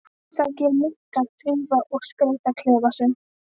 Einstakir munkar þrífa og skreyta klefa sína.